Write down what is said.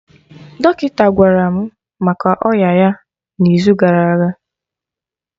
Dọkịta gwara mụ maka ọya ya na izu gara aga